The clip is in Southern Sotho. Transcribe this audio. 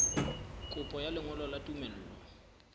kopo ya lengolo la tumello